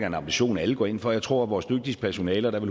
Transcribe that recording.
en ambition alle går ind for jeg tror at vores dygtige personale og der er